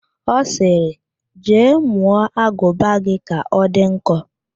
Ọ sịrị, jee mụọ aguba gị ka ọ dị nkọ!